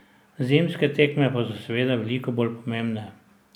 Zimske tekme pa so seveda veliko bolj pomembne.